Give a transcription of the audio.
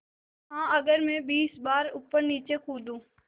हाँ अगर मैं बीस बार ऊपरनीचे कूदूँ